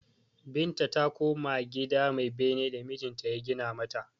Binta ta koma gida mai bene da mijinta ya gina mata.